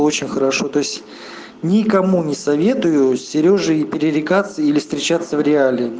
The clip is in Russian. очень хорошо то есть никому не советую серёжей пререкаться или встречаться в риале